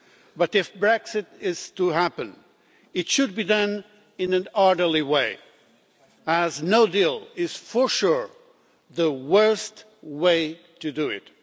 But if Brexit is to happen, it should be done in an orderly way, as no-deal is for sure the worst way to do it.